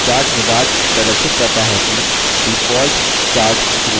chart wizard प्रदर्शित करता है कि default chart चुनित है